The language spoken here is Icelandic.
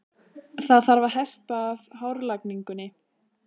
Það þarf að hespa af hárlagningunni.